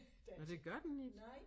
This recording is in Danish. Nåh det gør den ikke